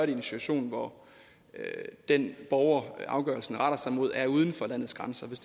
i en situation hvor den borger afgørelsen retter sig mod er uden for landets grænser hvis